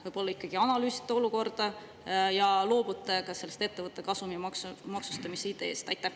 Võib-olla ikkagi analüüsite olukorda ja loobute sellest ettevõtte kasumi maksustamise ideest?